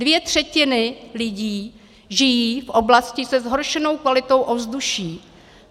Dvě třetiny lidí žijí v oblasti se zhoršenou kvalitou ovzduší.